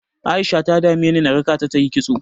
A'isha ta dameni na raka ta ta yi kitso.